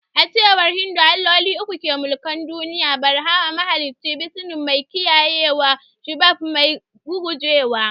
A cewar Hindu, Alloli uku ne ke mulkin duniya. Brahma: mahalicci; Vishnu: mai kiyayewa da Shiva: mai rugujewa.